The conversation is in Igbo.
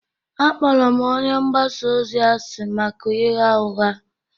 Akpọrọ m onye mgbasa ozi asị maka ịgha ụgha